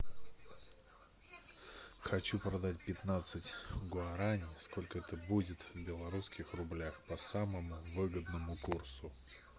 хочу продать пятнадцать гуарани сколько это будет в белорусских рублях по самому выгодному курсу